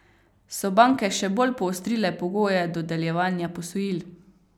So banke še bolj poostrile pogoje dodeljevanja posojil?